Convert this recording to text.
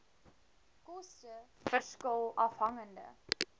koste verskil afhangende